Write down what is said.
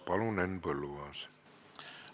Palun, Henn Põlluaas!